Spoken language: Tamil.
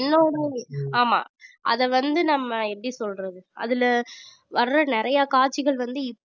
ஆமா அதை வந்து நம்ம எப்படி சொல்றது அதுல வர்ற நிறைய காட்சிகள் வந்து